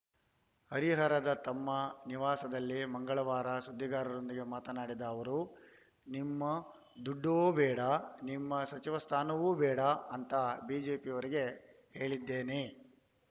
ಹರಿಹರದ ತಮ್ಮ ನಿವಾಸದಲ್ಲಿ ಮಂಗಳವಾರ ಸುದ್ದಿಗಾರರೊಂದಿಗೆ ಮಾತನಾಡಿದ ಅವರು ನಿಮ್ಮ ದುಡ್ಡೂ ಬೇಡ ನಿಮ್ಮ ಸಚಿವ ಸ್ಥಾನವೂ ಬೇಡ ಅಂತಾ ಬಿಜೆಪಿಯವರಿಗೆ ಹೇಳಿದ್ದೇನೆ